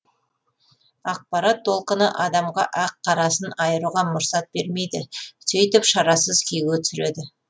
ақпарат толқыны адамға ақ қарасын айыруға мұрсат бермейді сөйтіп шарасыз күйге түсіреді